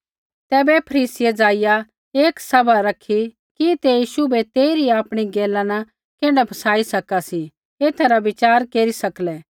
तैबै फरीसियै ज़ाइआ एक सभा रखी कि ते यीशु बै तेइरी आपणी गैला न कैण्ढै फसाई सका सी एथा रा विचार केरी सकलै